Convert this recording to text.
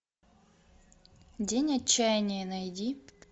день отчаяния найди